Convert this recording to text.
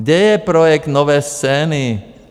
Kde je projekt Nové scény?